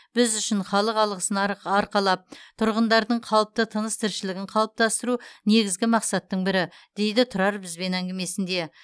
біз үшін халық алғысын арық арқалап тұрғындардың қалыпты тыныс тіршілігін қалыптастыру негізгі мақсаттың бірі дейді тұрар бізбен әңгімесінде